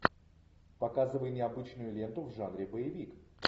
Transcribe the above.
показывай необычную ленту в жанре боевик